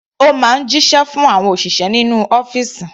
Ó máa ń jíṣẹ́ fún àwọn òṣìṣẹ́ inú ọ́fìsì.